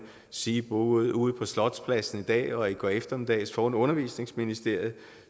sige både herude på slotspladsen i dag og i går eftermiddags foran undervisningsministeriet